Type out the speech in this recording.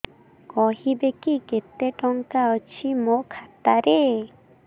କହିବେକି କେତେ ଟଙ୍କା ଅଛି ମୋ ଖାତା ରେ